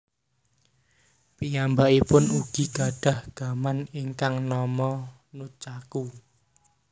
Piyambakipun ugi gadhah gaman ingkang nama nunchaku